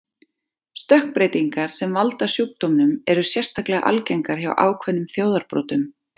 Stökkbreytingar sem valda sjúkdómnum eru sérstaklega algengar hjá ákveðnum þjóðarbrotum.